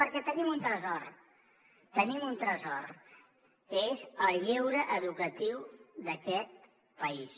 perquè tenim un tresor tenim un tresor que és el lleure educatiu d’aquest país